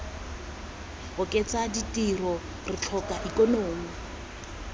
oketsa ditiro re tlhoka ikonomi